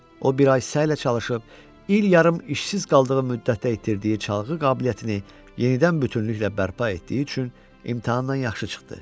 O bir ay səylə çalışıb, il yarım işsiz qaldığı müddətdə itirdiyi çalğı qabiliyyətini yenidən bütünlüklə bərpa etdiyi üçün imtahandan yaxşı çıxdı.